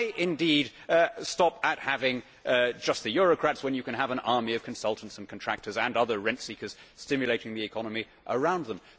Why, indeed, stop at having just the eurocrats when you can have an army of consultants and contractors and other rent seekers stimulating the economy around them?